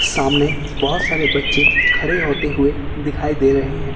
सामने बहुत सारे बच्चे खड़े होते हुए दिखाई दे रहे हैं।